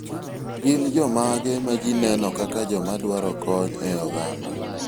Gin jomage ma ji neno kaka jomadwaro kony e oganda?